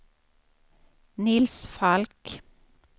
Nils Falk